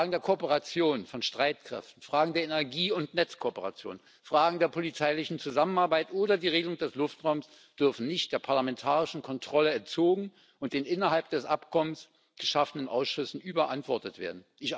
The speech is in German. Fragen der Kooperation von Streitkräften, Fragen der Energie und Netzkooperation, Fragen der polizeilichen Zusammenarbeit oder die Regelung des Luftraums dürfen nicht der parlamentarischen Kontrolle entzogen und den innerhalb des Abkommens geschaffenen Ausschüssen überantwortet werden.